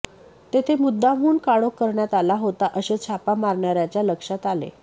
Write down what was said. तेथे मुद्दामहून काळोख करण्यात आला होता असे छापा मारणाऱयाच्या लक्षात आले